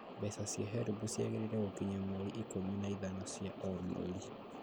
Mbeca cia HELB ciagĩrĩire gũkinya mweri ikũmi na ithano cia o mweri